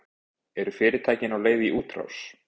Eru fyrirtækin á leið í útrás?